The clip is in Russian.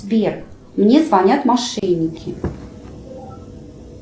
сбер мне звонят мошенники